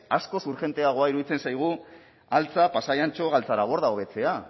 askoz urgenteagoa iruditzen zaigu altza pasai antxo galtzaraborda hobetzea